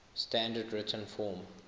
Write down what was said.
standard written form